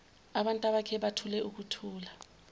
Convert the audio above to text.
abantabakhe bathule ukuthula